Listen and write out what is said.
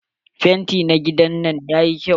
Fenti na gidan nan yayi kyau.